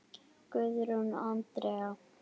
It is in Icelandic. Guðrún Andrea,?